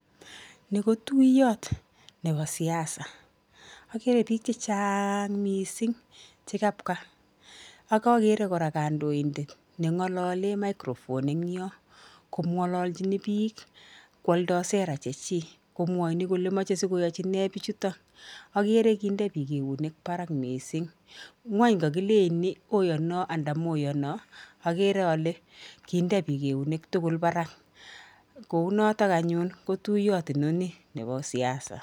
Ni ko tuiyot nebo siasa, akere biik che chaang mising che kapka, ak akere kora kandoindet ne ngolole microphone eng nyoo ko ngolochini piik kwoldo sera che chii komwoini kole moche sikoyochi nee biichuto, akere kinde piik eunek barak mising, ngwany kakilech ni oyono anda moyonoo, akere ale kinde piik eunek tugul barak, kou notok anyun kotuiyot inoni nebo siasa.